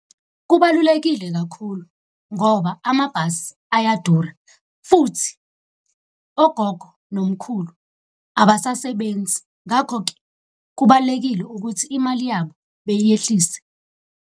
Kubalulekile kakhulu ngoba amabhasi ayadura, futhi ogogo nomkhulu abasasebenzi. Ngakho-ke kubalulekile ukuthi imali yabo beyehlise.